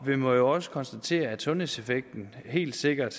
vi må også konstatere at sundhedseffekten helt sikkert